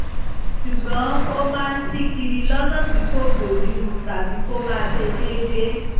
ṣùgbọ́n ó máa ń ṣí kiri lọ́nà tí kò bójú mu tàbí kó má ṣe déédé